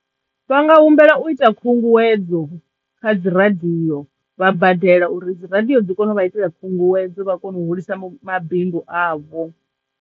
Vha nga humbela u ita khunguwedzo kha dzi radiyo vha badela uri dzi radiyo dzi kone u vha itela khunguwedzo vha kona u hulisa mabindu avho.